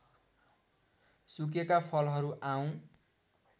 सुकेका फलहरू आउँ